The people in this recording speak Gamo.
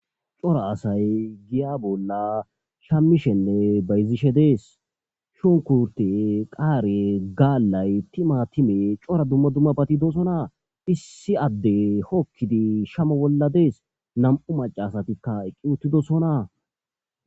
Cora asay giya bolla shammishenne beyzishe dees shunkurte qaare gaallay tima time cora dumma dumma batidosona issi adde hokkidi shamo bolla dees nam'u macasatikka eqqi uttidosona.